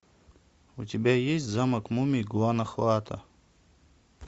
у тебя есть замок мумий гуано хуато